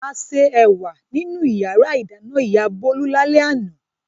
A se ẹ̀wà nínú ìyàrá-ìdáná ìyá Bólú lálẹ́ àná.